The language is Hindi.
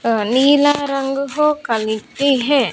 अ नीला रंग हो है।